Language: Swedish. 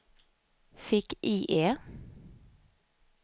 fick-IE